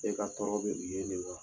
E ka tɔɔrɔ be yen de wa?